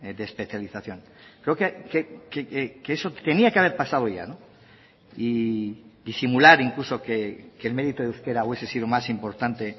de especialización creo que eso tenía que haber pasado ya y simular incluso que el mérito de euskera hubiese sido más importante